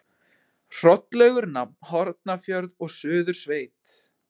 Hrollaugur nam Hornafjörð og Suðursveit.